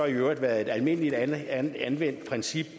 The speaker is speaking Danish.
øvrigt været et almindeligt anvendt princip